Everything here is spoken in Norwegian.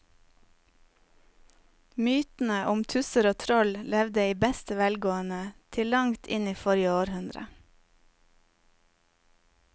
Mytene om tusser og troll levde i beste velgående til langt inn i forrige århundre.